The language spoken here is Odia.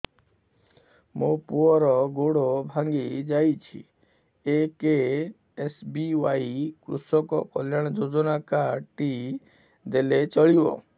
ମୋ ପୁଅର ଗୋଡ଼ ଭାଙ୍ଗି ଯାଇଛି ଏ କେ.ଏସ୍.ବି.ୱାଇ କୃଷକ କଲ୍ୟାଣ ଯୋଜନା କାର୍ଡ ଟି ଦେଲେ ଚଳିବ